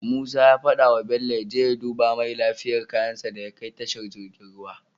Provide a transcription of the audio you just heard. Musa ya fada wa bello yaje ya duba mai lafiyar kayan shi daya kai tashar jirgin ruwa